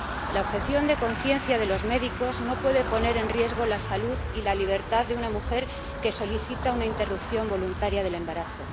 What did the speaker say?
La objeción de conciencia de los médicos no puede poner en riesgo la salud y la libertad de una mujer que solicita una interrupción voluntaria del embarazo.